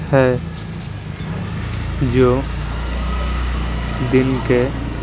है जो दिन के --